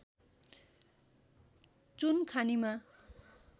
चुन खानीमा